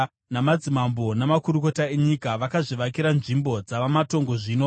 namadzimambo namakurukota enyika, vakazvivakira nzvimbo dzava matongo zvino,